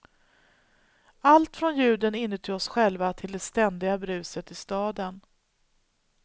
Allt från ljuden inuti oss själva till det ständiga bruset i staden.